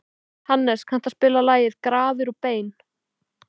Hannes, kanntu að spila lagið „Grafir og bein“?